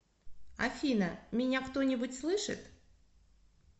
афина меня кто нибудь слышит